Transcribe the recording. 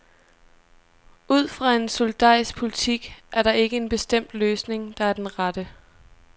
Ud fra en solidarisk politik er der ikke en bestemt løsning, der er den rette.